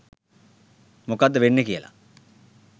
මොකද්ද වෙන්නේ කියලා